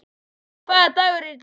Tea, hvaða dagur er í dag?